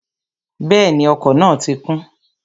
Bẹ́ẹ̀ni, ọkọ̀ náà ti kún